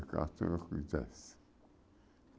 Ficava quisesse.